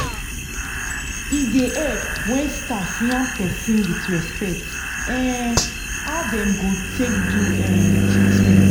e da help when staff yan person with respect um how them go take do um treatment